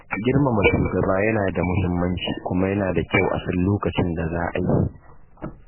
Girmama shugaba yana da muhimmanci kuma yana da kyau a san lokacin da za a yi.